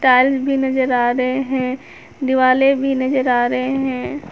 Tiles भी नजर आ रहे हैं दिवाले भी नजर आ रहे हैं।